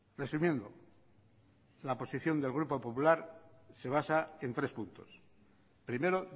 resumiendo la posición del grupo popular se basa en tres puntos primero